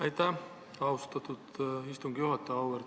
Aitäh, austatud istungi juhataja!